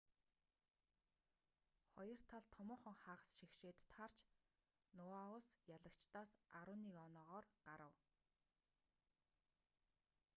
хоёр тал томоохон хагас шигшээд таарч ноаус ялагчдаас 11 оноогоор гарав